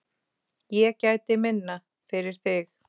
Ég gæti minna, fyrir þig.